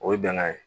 O ye bɛnkan ye